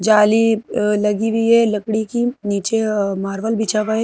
जाली अह लगी हुई है लकड़ी की नीचे अह मार्बल बिछा हुआ है।